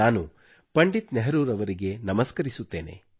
ನಾನು ಪಂಡಿತ್ ನೆಹರೂರವರಿಗೆ ನಮಸ್ಕರಿಸುತ್ತೇನೆ